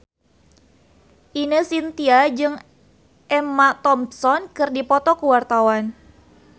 Ine Shintya jeung Emma Thompson keur dipoto ku wartawan